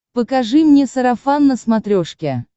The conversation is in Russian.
покажи мне сарафан на смотрешке